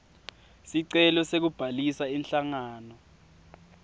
sicelo sekubhalisa inhlangano